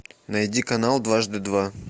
найди канал дважды два